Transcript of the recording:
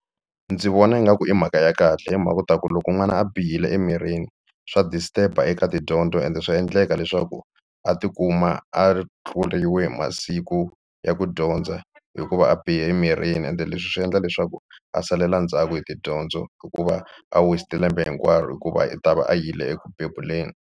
Ndzi vona ingaku i mhaka ya kahle hi mhaka u ta ku loko n'wana a bihile emirini swa disturb-a eka tidyondzo ende swa endleka leswaku a tikuma a tluriwe hi masiku ya ku dyondza hikuva a bihe emirini ende leswi swi endla leswaku a salela ndzhaku hi tidyondzo hikuva a west-e lembe hinkwaro hikuva u ta va a yile eku bebuleni.